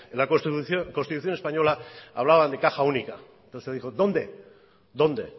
la constitución española hablaban de caja única dijo dónde dónde